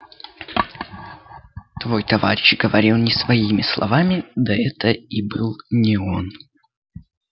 твой товарищ говорил не своими словами да это и был не он